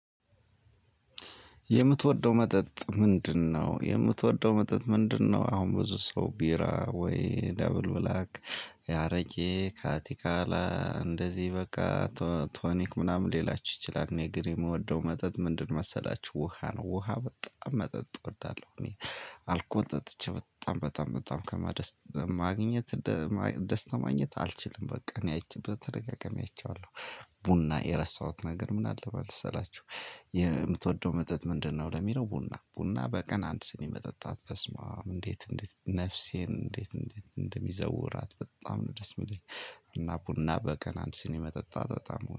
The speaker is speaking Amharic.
የምትወደው መጠጥ ምንድነው? የምትወደው መጠጥ ምንድነው? አሁን ብዙ ሰው ቢራ፣ ወይ ደብል ብላክ፣ አረቄ፣ ካቲካላ እንደዚህ በቃ ቶኒክ ምናምን ሌላችሁ ይችላል። እኔ ግን የምወደው መጠጥ ምንድን መሰላችሁ ውሃ ነው። ውሃ በጣም መጠጥ እወዳለሁ። እኔ አልኮል ጠጥቼ በጣም በጣም በጣም ማግኘት ደስታ ማግኘት አልችልም። በቃ እኔ አይቼ ተደጋጋሚ አይቼዋለሁ። ቡና የረሳሁት ነገር ምን አለ መሰላችሁ የምትወደው መጠጥ ምንድን ነው? ለሚለው ቡና። ቡና በቀን አንድ ስኒ መጠጣት በስመአብ እንዴት እንዴት ነፍሴን እንዴት እንዴት እንደሚዘውራት በጣም ነው ደስ የሚለኝ። እና ቡና በቀን አንድ ስኒ መጠጣት በጣም